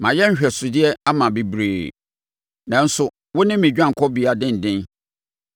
Mayɛ nhwɛsodeɛ ama bebree, nanso wo ne me dwanekɔbea denden.